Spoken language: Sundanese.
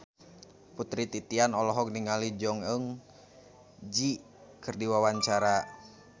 Putri Titian olohok ningali Jong Eun Ji keur diwawancara